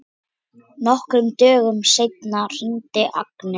Nokkrum dögum seinna hringir Agnes.